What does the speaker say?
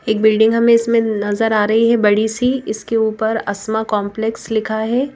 एक बिल्डिंग हमें इसमें नजर आ रही है बड़ी सी इसके ऊपर असमा कॉम्प्लेक्स लिखा है।